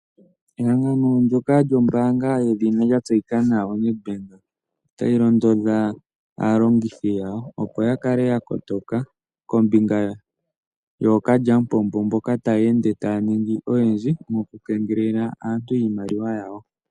Ehangano ndyoka lyombaanga yedhina lya tseyika nawa Nedbank otayi londodha aalongithi yawo, opo ya kale ya kotoka kombinga yookalyamupombo mboka taya ende taya ningi oyendji mokukengelela aantu iimaliwa yawo.